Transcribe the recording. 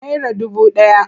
Naira dubu ɗaya.